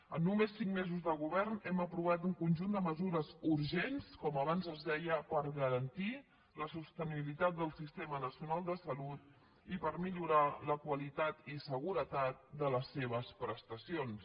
en només cinc mesos de govern hem aprovat un conjunt de mesures urgents com abans es deia per garantir la sostenibilitat del sistema nacional de salut i per millorar la qualitat i seguretat de les seves prestacions